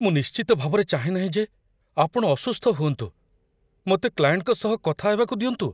ମୁଁ ନିଶ୍ଚିତ ଭାବରେ ଚାହେଁ ନାହିଁ ଯେ ଆପଣ ଅସୁସ୍ଥ ହୁଅନ୍ତୁ। ମୋତେ କ୍ଲାଏଣ୍ଟଙ୍କ ସହ କଥା ହେବାକୁ ଦିଅନ୍ତୁ।